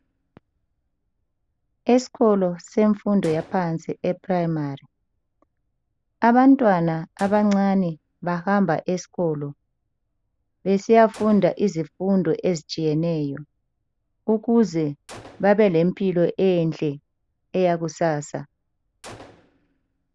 Esikolo semfundo yaphansi eprimary abantwana abancane bahamba esikolo besiya funda izifundo ezitshiyeneyo ukuze babe lempilo enhle eyakusasa.